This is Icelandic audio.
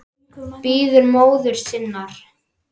Bíður móður sinnar.